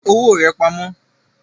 Fi owó rà pamó